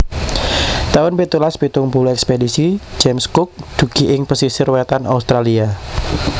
taun pitulas pitung puluh Ekspedisi James Cook dugi ing pesisir wétan Australia